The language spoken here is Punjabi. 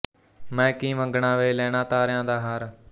ਮੈਂ ਕੀ ਮੰਗਣਾ ਵੇ ਲੈਣਾ ਤਾਰਿਆਂ ਦਾ ਹਾਰ